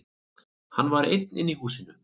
Hann var einn í húsinu.